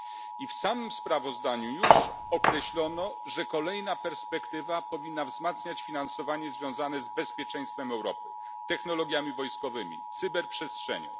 I w samym sprawozdaniu już określono, że kolejna perspektywa powinna wzmacniać finansowanie związane z bezpieczeństwem Europy, technologiami wojskowymi, cyberprzestrzenią.